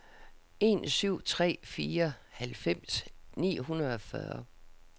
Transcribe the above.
en syv tre fire halvfems ni hundrede og fyrre